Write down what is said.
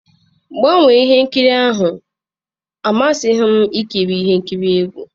Gbanwee ihe nkiri ahụ na-amasịghị m ikiri ihe nkiri egwu.